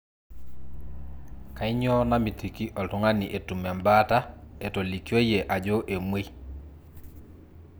kainyioo namitiki oltung'ani etum embaata etolikioyie ajo emwei